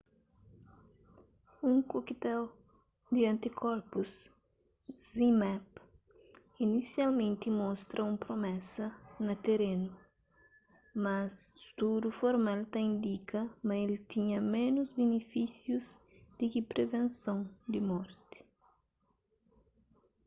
un cocktail di antikorpus zmapp inisialmenti mostra un promesa na terenu mas studu formal ta indika ma el tinha ménus binifísius di ki privenson di morti